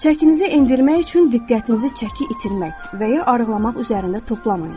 Çəkinizi endirmək üçün diqqətinizi çəki itirmək və ya arıqlamaq üzərində toplamayın.